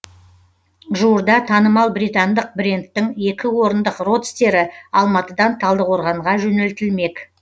жуырда танымал британдық брендтің екі орындық родстері алматыдан талдықорғанға жөнелтілмек